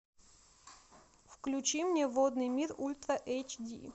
включи мне водный мир ультра эйч ди